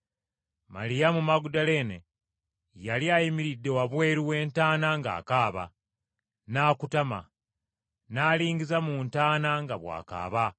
Maliyamu Magudaleene yali ayimiridde wabweru w’entaana ng’akaaba. N’akutama. N’alingiza mu ntaana nga bw’akaaba,